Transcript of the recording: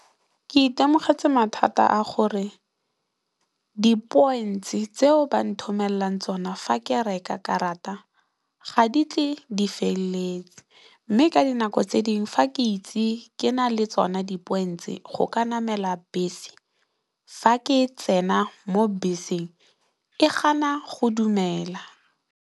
Ke itemogetse mathata a gore di points tseo ba nthomelelang tsona fa ke reka karata ga di tle di feleletse mme, ka dinako tse dingwe fa ke itse ke na le tsona di points tse go ka namela bese fa ke tsena mo beseng e gana go dumela.